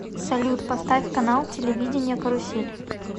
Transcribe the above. салют поставь канал телевидения карусель